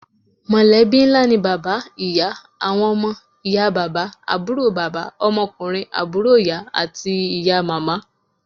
Mọ̀lẹ́bí ńlá ni bàbá, ìyá, àwọn ọmọ, ìyá bàbá, àbúrò bàbà, ọmọkunrin àbúrò ìyá, àti ìyá màmá.